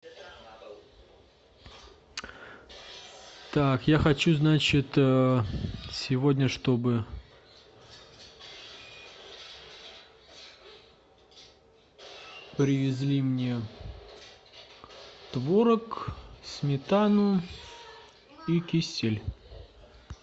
так я хочу значит сегодня чтобы привезли мне творог сметану и кисель